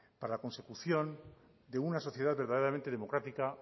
para la consecución de una sociedad verdaderamente democrática